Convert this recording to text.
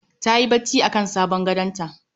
Tayi bacci akan sabon gadonta